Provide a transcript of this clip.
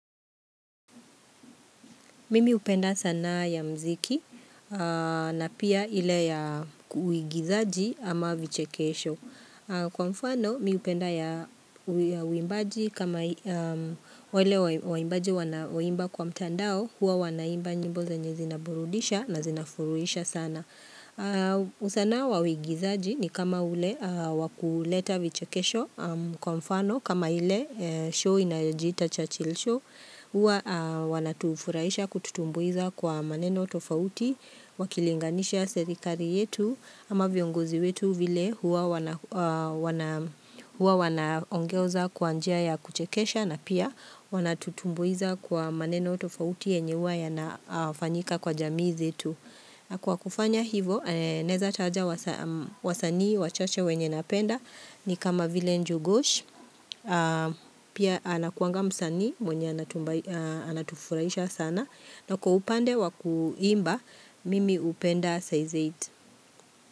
Mimi hupenda sanaa ya mziki na pia ile ya uigizaji ama vichekesho. Kwa mfano, mi hupenda ya uimbaji kama wale waimbaji wanao imba kwa mtandao, huwa wanaimba nyimbo zenye zinaburudisha na zinafuruhisha sana. Sanaa ya uigizaji ni kama ile ya kuleta vichekesho, kwa mfano kama kipindi kinachoitwa Churchill Show. Huwa wanatufurahisha kututumbuiza kwa maneno tofauti wakilinganisha serikali yetu ama viongozi wetu vile huwa wanaongoza kwa njia ya kuchekesha na pia wanatutumbuiza kwa maneno tofauti yenye huwa yanafanyika kwa jamii zetu. Kwa kufanya hivo, naweza taja wasanii wachache wenye napenda ni kama vile Njugush. Pia anakuanga msanii, mwenye anatufuraisha sana. Na kwa upande wakuimba, mimi hupenda size 8.